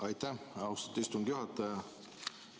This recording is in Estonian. Aitäh, austatud istungi juhataja!